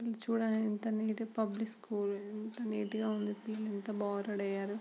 ఇది చుడండి public school neat గ ఉంది చుడండి ఎంత బాగుంది.